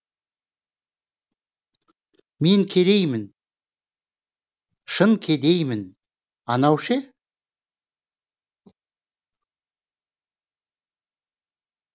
мен кереймін шын кедеймін анау ше